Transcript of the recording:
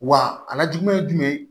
Wa a ka jugu